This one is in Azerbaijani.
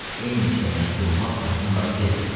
Eyni işlə məşğul olmaq onları tez bezdirir.